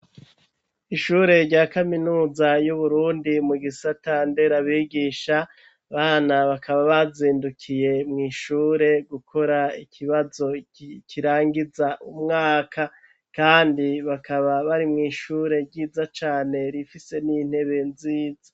Ishure rya kaminuza y'uburundi mu gisata nderabigisha bana bakaba bazindukiye mw'ishure gukora ikibazo kirangiza umwaka kandi bakaba bari mu ishure ryiza cane rifise n'intebe nziza.